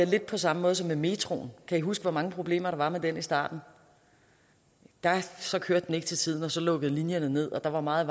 lidt på samme måde som med metroen kan i huske hvor mange problemer der var med den i starten så kørte den ikke til tiden så lukkede linjerne ned og der var meget